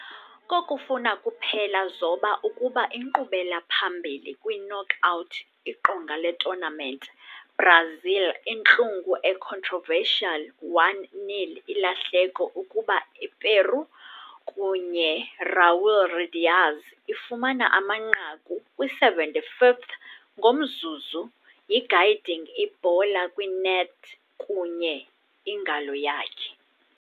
Kokufuna kuphela zoba ukuba inkqubela-phambili kwi-knockout iqonga le-tournament, Brazil intlungu a controversial 1-0 ilahleko ukuba Eperu, kunye Raúl Ruidíaz ifumana amanqaku kwi-75th ngomzuzu yi-guiding ibhola kwi-net kunye ingalo yakhe.